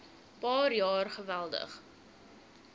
paar jaar geweldig